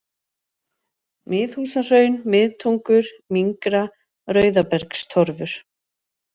Miðhúsahraun, Miðtungur, Mingra, Rauðabergstorfur